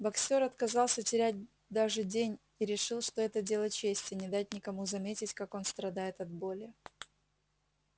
боксёр отказался терять даже день и решил что это дело чести не дать никому заметить как он страдает от боли